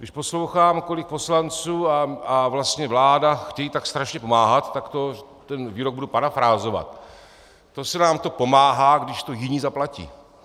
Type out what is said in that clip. Když poslouchám, kolik poslanců a vlastně vláda chtějí tak strašně pomáhat, tak to ten výrok budu parafrázovat: To se nám to pomáhá, když to jiní zaplatí.